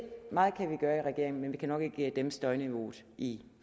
meget kan vi gøre i regeringen men vi kan nok ikke dæmpe støjniveauet i